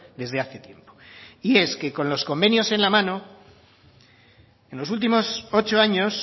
desde hace tiempo y es que con los convenios en la mano en los últimos ocho años